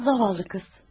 Zavallı qız.